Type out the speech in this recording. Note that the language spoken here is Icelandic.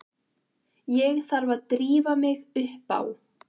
Ég þarf að drífa mig upp á